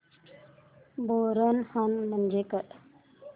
बोरनहाण म्हणजे काय